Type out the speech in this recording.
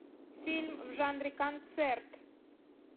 фильм в жанре концерт